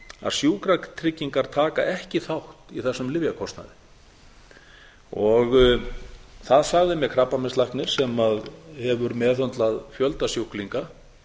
að sjúkratryggingar taka ekki þátt í þessum lyfjakostnaði það sagði mér krabbameinslæknir sem hefur meðhöndlað fjölda sjúklinga